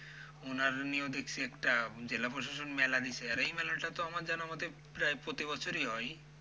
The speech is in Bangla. ওনার নিয়েও দেখছি একটা জেলা প্রশাসন মেলা দিসে, আর এই মেলাটা তো আমার যেন আমাদের প্রায় প্রতিবছরই হয়।